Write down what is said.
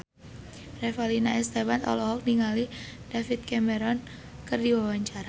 Revalina S. Temat olohok ningali David Cameron keur diwawancara